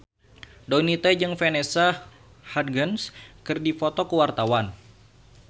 Donita jeung Vanessa Hudgens keur dipoto ku wartawan